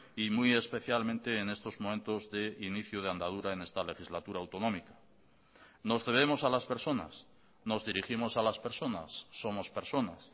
y muy especialmente en estos momentos de inicio de andadura en esta legislatura autonómica nos debemos a las personas nos dirigimos a las personas somos personas